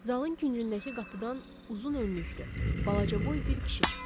Zalın küncündəki qapıdan uzun önlüklü, balacaboy bir kişi çıxdı.